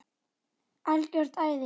Algjört æði.